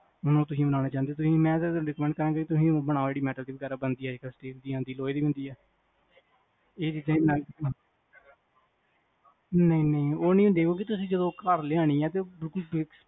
ਤੁਸੀ ਬਨਾਨਾ ਚਾਹੋੰਦੇਆ ਮੈਂ ਤਾਂ ਕਹਾਂਗਾ ਤੁਸੀ ਉਹ ਬਣਾਓ ਜਿਹੜੀ metal ਵਗੈਰਾ ਦੀ ਬਣ ਦੀ ਆ steel ਦੀ ਆਂਦੀਆਂ ਲੋਹੇ ਦੀਵੀ ਹੁੰਦੀਆਂ ਨਹੀਂ ਨਹੀਂ ਜਦੋ ਤੁਸੀ ਘਰ ਲਿਆਂਨਿਆ ਤੇ ਬਿਲਕੁਲ